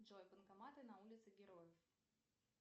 джой банкоматы на улице героев